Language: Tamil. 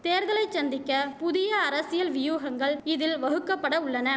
தேர்தலை சந்திக்க புதிய அரசியல் வியூகங்கள் இதில் வகுக்கப்பட உள்ளன